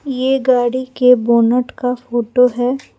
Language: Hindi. ये गाड़ी के बोनट का फोटो है।